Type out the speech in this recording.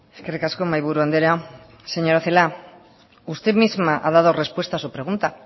eskerrik asko mahaiburu andrea señora celaá usted misma ha dado respuesta a su pregunta